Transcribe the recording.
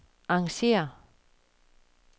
arrangér